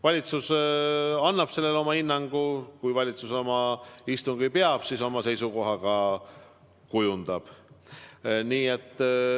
Valitsus annab sellele oma hinnangu, kui valitsus oma istungi peab, siis ta oma seisukoha ka kujundab.